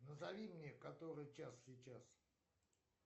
назови мне который час сейчас